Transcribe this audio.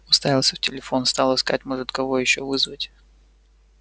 уставился в телефон стал искать может кого ещё вызвать